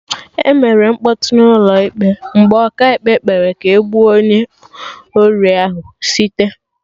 Emere mkpọtụ n'ụlọ ịkpe mgbe Ọkaikpe kpere ka e gbuo onye ori ahụ site